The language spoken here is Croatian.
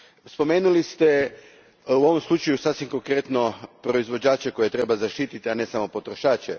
Spomenuli ste, u ovom slučaju, sasvim konkretno proizvođače koje treba zaštititi, a ne samo potrošače.